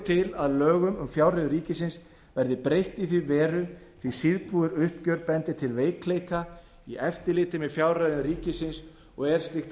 til að lögum um fjárreiður ríkisins verði breytt í þá veru því síðbúið uppgjör bendir til veikleika í eftirliti með fjárreiðum ríkisins og er slíkt